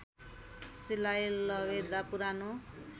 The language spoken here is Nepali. सिलाई लवेदा पुरानो